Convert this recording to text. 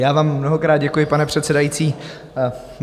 Já vám mnohokrát děkuji, pane předsedající.